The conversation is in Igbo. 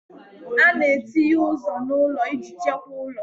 A na-etinye ụzọ n'ụlọ iji chekwaa ụlọ